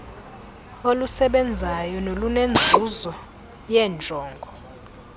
olusebenzayo nolunenzuzo yeenjongo